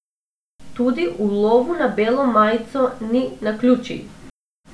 Tudi v lovu na belo majico ni naključij.